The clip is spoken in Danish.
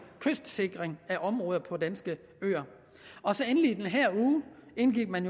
kystsikring af områder på danske øer og så endelig indgik man